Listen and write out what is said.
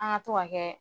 An ka to ka kɛ